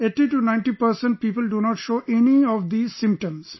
80 to 90 percent people do not show any of these symptoms